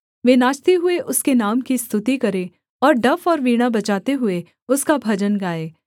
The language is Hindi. वे नाचते हुए उसके नाम की स्तुति करें और डफ और वीणा बजाते हुए उसका भजन गाएँ